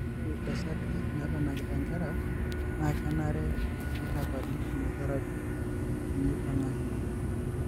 ore itasaati nanakita inkera na kenare nitapali chemotherapy tenipangaki.